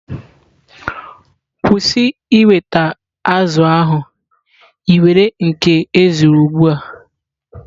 Kwụsị ịweta azụ̀ ahụ!, i nwere nke ezuru ugbua